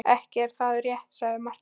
Ekki er það rétt, sagði Marteinn.